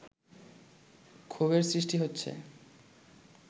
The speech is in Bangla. ক্ষোভের সৃষ্টি হচ্ছে